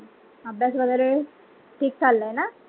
अभ्यास वागेरे ठीक चालला आहे ना?